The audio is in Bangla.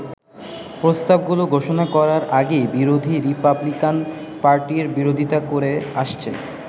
প্রস্তাব গুলো ঘোষণা করার আগেই বিরোধী রিপাবলিকান পার্টি এর বিরোধিতা করে আসছে।